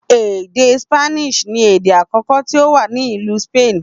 Èdè ṣípánísì ni èdè àkọkọ tí ó wà ní ìlú Sípánì